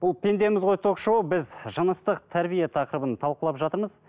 бұл пендеміз ғой ток шоуы біз жыныстық тәрбие тақырыбын талқылап жатырмыз